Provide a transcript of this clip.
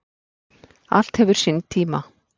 Allt hefur sinn tíma.